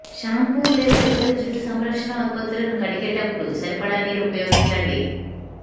shampoo లేదా ఇతర జుట్టు సంరక్షణా ఉత్పత్తులను కడిగేటపుడు సరిపడా నీరు ఉపయోగించండి